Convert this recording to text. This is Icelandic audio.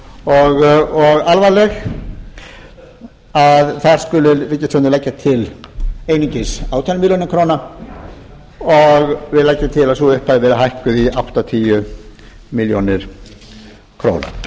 og alvarleg að þar skuli ríkisstjórnin leggja til einungis átján milljónir króna og við leggjum til að sú upphæð verði hækkuð í áttatíu milljónir króna